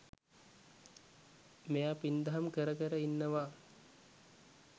මෙයා පින්දහම් කර කර ඉන්නවා